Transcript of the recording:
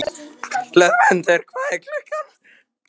Hlöðmundur, hvað er klukkan?